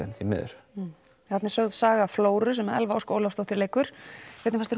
leigerðin þarna er sögð sögð flóru sem Elva Ósk Ólafsdóttir leikur hvernig fannst